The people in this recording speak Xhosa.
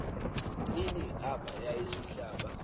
ini aaba yasihlaba